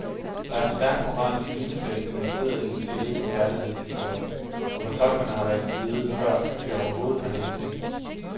Der er en stærk moralsk lidenskab investeret i den celebre kærlighedshistorie, og fortolkerne har valgt side, førend de overhovedet har læst teksten.